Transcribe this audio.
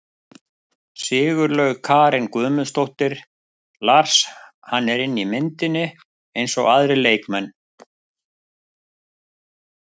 Sigurlaug Karen Guðmundsdóttir Lars: Hann er inni í myndinni eins og aðrir leikmenn.